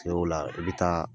o la i bɛ taa.